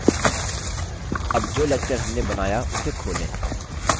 अब जो lecture हमने बनाया उसे खोलें